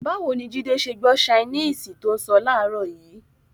Báwo ni Jídé ṣe gbọ́ ṣainíìsì tó ń sọ láàárọ̀ yìí?